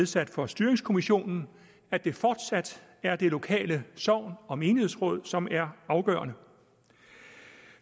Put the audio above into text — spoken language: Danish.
sat for styringskommissionen at det fortsat er det lokale sogn og menighedsrådet som er afgørende